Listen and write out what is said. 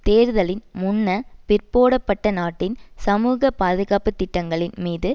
தேர்தலின் முன்ன பிற்போடப்பட்ட நாட்டின் சமூக பாதுகாப்பு திட்டங்களின் மீது